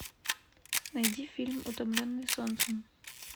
найди фильм утомленные солнцем